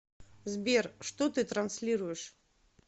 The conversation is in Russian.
сбер что ты транслируешь